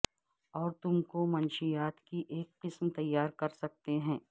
اور تم کو منشیات کی ایک قسم تیار کر سکتے ہیں